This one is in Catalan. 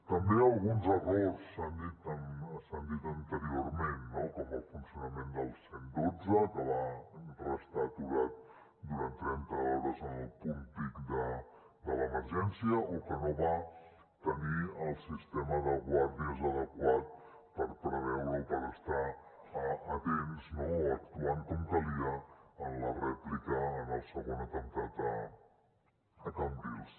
també alguns errors s’han dit anteriorment no com el funcionament del cent i dotze que va restar aturat durant trenta hores en el punt pic de l’emergència o que no va tenir el sistema de guàrdies adequat per preveure o per estar atents actuant com calia en la rèplica en el segon atemptat a cambrils